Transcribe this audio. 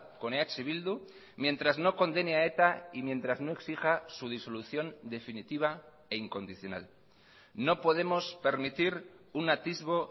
con eh bildu mientras no condene a eta y mientras no exija su disolución definitiva e incondicional no podemos permitir un atisbo